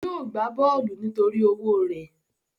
Yóò gbá bọ́ọ̀lù nítorí owó rẹ̀